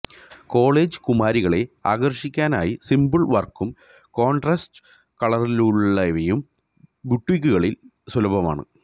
college കുമാരികളെ ആകര്ഷിക്കാനായി simple വര്ക്കും കോണ്ട്രാസ്റ്റ് കളറിലുളളവയും ബുട്ടീക്കുകളില് സുലഭമാണ്